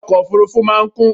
Ilé ọkọ̀ òfurufú máa ń kún